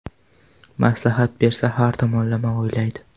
Maslahat bersa, har tomonlama o‘ylaydi.